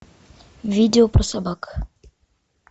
видео про собак